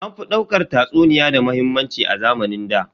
An fi daukar tatsuniya da muhimmanci a zamanin ɗa.